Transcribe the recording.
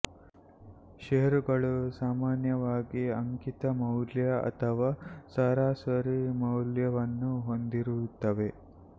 ಷೇರುಗಳು ಸಾಮಾನ್ಯವಾಗಿ ಅಂಕಿತ ಮೌಲ್ಯ ಅಥವಾ ಸರಾಸರಿ ಮೌಲ್ಯವನ್ನು ಹೊಂದಿರುತ್ತವೆ